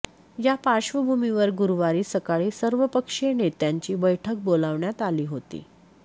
या पार्श्वभूमीवर गुरुवारी सकाळी सर्वपक्षीय नेत्यांची बैठक बोलावण्यात आली होती